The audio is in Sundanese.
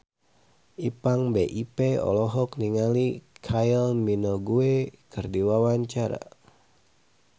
Ipank BIP olohok ningali Kylie Minogue keur diwawancara